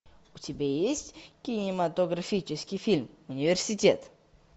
у тебя есть кинематографический фильм университет